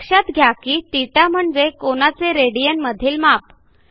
लक्षात घ्या की θ म्हणजे कोनाचे रेडियन मधील माप